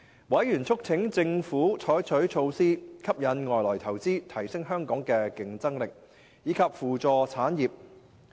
委員促請政府採取措施吸引外來投資，提升香港的競爭力，以及扶助產業。